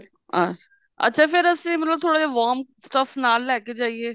ਅੱਛਾ ਅੱਛਾ ਫੇਰ ਅਸੀਂ ਮਤਲਬ ਥੋੜਾ ਜਾ ਵਾਰਮ stuff ਨਾਲ ਲੈ ਕੇ ਜਾਈਏ